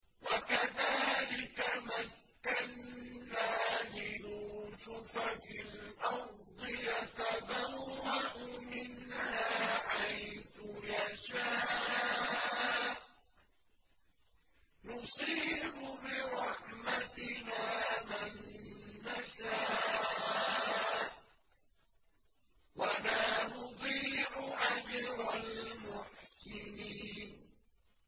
وَكَذَٰلِكَ مَكَّنَّا لِيُوسُفَ فِي الْأَرْضِ يَتَبَوَّأُ مِنْهَا حَيْثُ يَشَاءُ ۚ نُصِيبُ بِرَحْمَتِنَا مَن نَّشَاءُ ۖ وَلَا نُضِيعُ أَجْرَ الْمُحْسِنِينَ